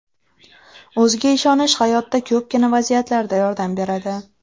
O‘ziga ishonish hayotda ko‘pgina vaziyatlarda yordam beradi.